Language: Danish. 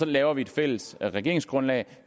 laver et fælles regeringsgrundlag og